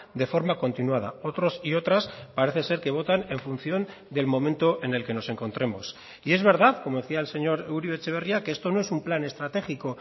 de forma continuada otros y otras parece ser que votan en función del momento en el que nos encontremos y es verdad como decía el señor uribe etxebarria que esto no es un plan estratégico